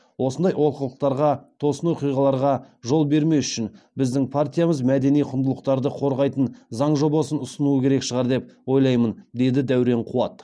осындай олқылықтарға тосын оқиғаларға жол бермес үшін біздің партиямыз мәдени құндылықтарды қорғайтын заң жобасын ұсынуы керек шығар деп ойлаймын деді дәурен қуат